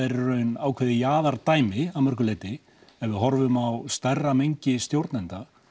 er í raun ákveðið að mörgu leyti ef við horfum á stærra mengi stjórnenda